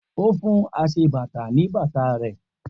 O fún aṣebàtà ní bàtà rẹ̀